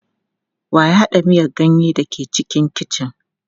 Wa ya haɗa miyan ganyen da ke cikin kicin.